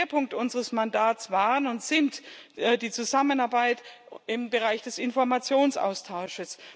Schwerpunkt unseres Mandats war und ist die Zusammenarbeit im Bereich des Informationsaustauschs.